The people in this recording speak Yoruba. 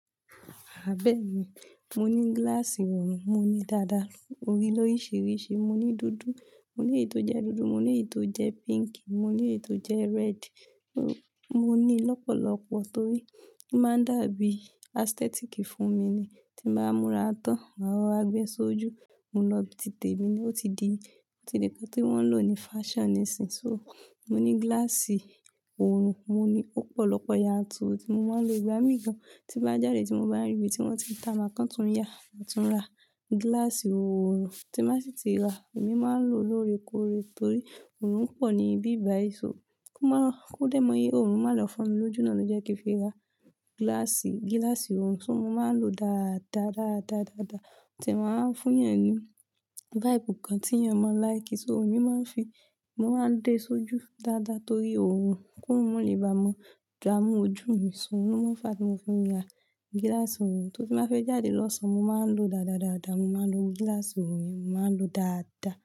Abẹ́ẹ̀ni, mo ní gíláàsì oòrùn, mo ní dáda. Mo ní lóríṣiríṣi, mo ní dúdú, mo ní èyí tó jẹ́ dúdú, mo ní èyí tó jẹ́ pink, mo ní èyí tó jẹ́ red. Mo ní lọ́pọ̀lọpọ̀ torí ó máa ń dàbí aesthetic fún mi ni tí n bá múra tán, máa rọra gbé e sójú. Mo lọ ibí ti temi ni, o ti di, o ti di nǹkan tí wọ́n ń lò ní fashion nísìínyi. So, mo ní gíláàsì oòrùn, mo ní ọ̀pọ̀lọpọ̀ yanturu tí mo máa ń lo ìgbà mìígan tí n bá jáde tí mo bá ríbi tí wọ́n ti ń ta máa kan tún yá, máa tún ra gíláàsì oòrùn tí máa sì ti rà. Èmi máa ń lò ó lóòrèkóòrè torí oòrùn pọ̀ níbí báyi so kò mọ, kò dẹ́ mọ oòrùn máa lọ fo mi lójú náà ló jẹ́ kí n fi ra gíláàsì, gíláàsì oòrùn. So mo máa ń lò ó dáadáa, dáadáa, dáadáa o ti e màá ń fún yàn ní vibe kan tí yàn máa ń like. So èmi máa ń fi, mo máa ń dé sójú dáadáa torí oòrùn koorun mọ lè bá mọ damu ojú mi so, ohun ló máa ń fà á tí mo fi n ra gíláàsì oòrùn. Torí tí n bàá fẹ́ jáde lọ́sán, mo máa ń lò ó dáadáa, dáadáa. Mo máa ń lo gíláàsì oòrùn mi, mo máa ń lò ó dáadáa.